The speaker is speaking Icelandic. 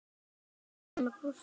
Ég heyri hann brosa.